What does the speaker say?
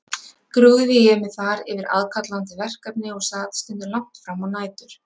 Grúfði ég mig þar yfir aðkallandi verkefni og sat stundum langt frammá nætur.